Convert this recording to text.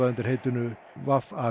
undir heitinu